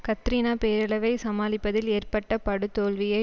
Katrina பேரழிவை சமாளிப்பதில் ஏற்பட்ட படுதோல்வியை